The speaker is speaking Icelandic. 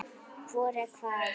Hvor er hvað?